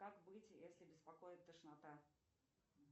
как быть если беспокоит тошнота